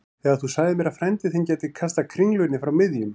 Þegar þú sagðir mér að frændi þinn gæti kastað kringlunni frá miðjum